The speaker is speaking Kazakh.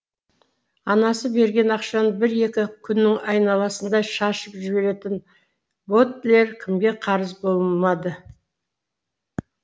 анасы берген ақшаны бір екі күнніңайналасында шашып жіберетін бодлер кімге қарыз болмады